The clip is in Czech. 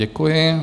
Děkuji.